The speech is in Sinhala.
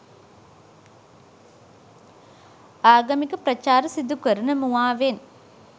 ආගමික ප්‍රචාර සිදුකරන මුවාවෙන්